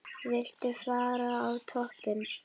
Viltu fara á toppinn?